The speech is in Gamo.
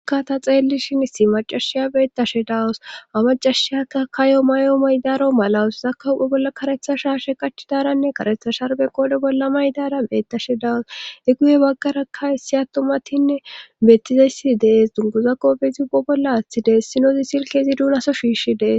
ka ta xeellishin issi maccashiya beettashe dawus ha maccashiyakka kayo mayo mayodaro malawus akka hu7e bollaka karetta shaashe qachidaranne karetta sharbbe qoodhe bolla mayidaara beettashe dawus;he guye baggarakka issi attumatinne beettizayssi de7ees;dunguza qoophezi be bolla aatti dees;issinozi silkke izi doonaso shiishi de7ees.